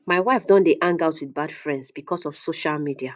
my wife don dey hang out with bad friends because of social media